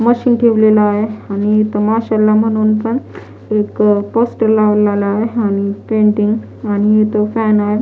Machine ठेवलाल आहे आणि इथं माश्याना म्हणून पण एक पोस्टर लावला आहे आणि पेंटिंग आणि इथे फॅन आहे.